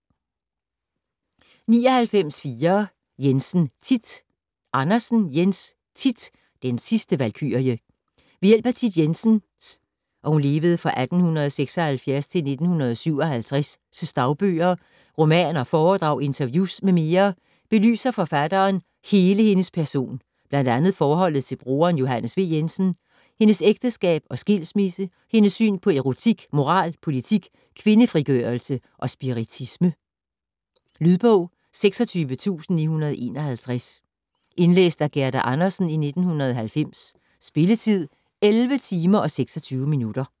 99.4 Jensen, Thit Andersen, Jens: Thit - den sidste valkyrie Ved hjælp af Thit Jensens (1876-1957) dagbøger, romaner, foredrag, interviews m.m. belyser forfatteren hele hendes person, bl.a. forholdet til broderen Johannes V. Jensen, hendes ægteskab og skilsmisse og hendes syn på erotik, moral, politik, kvindefrigørelse og spiritisme. Lydbog 26951 Indlæst af Gerda Andersen, 1990. Spilletid: 11 timer, 26 minutter.